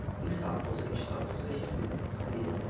Bir bir saat da olsa, iki saat da olsa, hisslidir, çıxdı getdi.